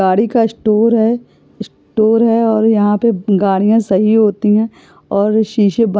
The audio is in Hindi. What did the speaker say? गाड़ी का स्टोर है स्टोर है और यहाँ पर गाड़ियां सही होती है और शीशे--